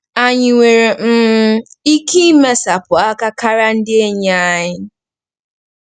Ànyị nwere um ike imesapụ aka karịa ndị enyi anyị?